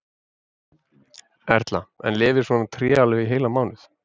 Erla: En lifir svona tré alveg í heilan mánuð?